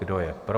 Kdo je pro?